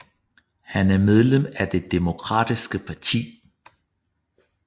Han er medlem af det Demokratiske parti